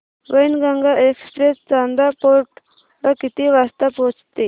Wainganga express Chanda fort ला किती वाजता पोहचते